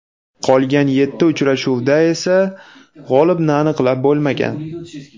Qolgan yetti uchrashuvda esa g‘olibni aniqlab bo‘lmagan.